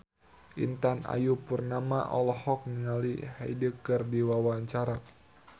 Intan Ayu Purnama olohok ningali Hyde keur diwawancara